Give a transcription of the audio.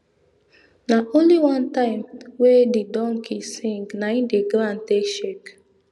na only one time wey the donkey sing na di ground take shake